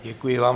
Děkuji vám.